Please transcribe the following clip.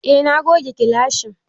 Eh, na goge gilashin